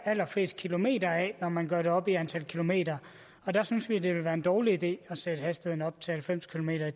allerfleste kilometer når man gør det op i antal kilometer og der synes vi det ville være en dårlig idé at sætte hastigheden op til halvfems kilometer